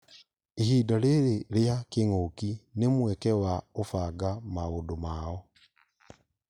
Ihinda rĩrĩ rĩa kĩng'ũki nĩmweke wa ũbanga maũndũ mao